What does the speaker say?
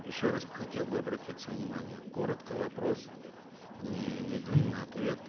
еще раз хотел бы обратиться внимание коротко вопрос не недлинный ответ